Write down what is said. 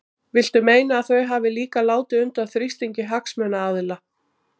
Viltu meina að þau hafi líka látið undan þrýstingi hagsmunaaðila?